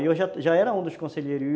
Eu já era um dos conselheiros.